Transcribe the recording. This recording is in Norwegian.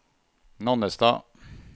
Nannestad